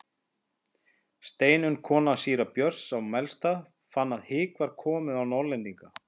Steinunn kona síra Björns á Melstað fann að hik var komið á Norðlendinga.